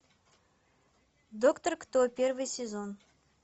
доктор кто первый сезон